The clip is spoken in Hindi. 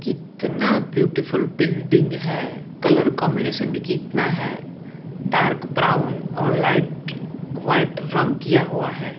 कितना ब्युटीफुल बिल्डिंग हैं कलर कॉम्बिनेशन भी कितना है डार्क ब्राउन और लाइट व्हाइट रंग किया हुआ हैं।